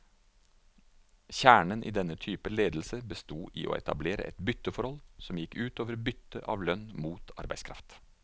Kjernen i denne typen ledelse bestod i å etablere et bytteforhold, som gikk ut over byttet av lønn mot arbeidskraft.